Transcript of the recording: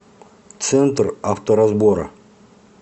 центр авторазбора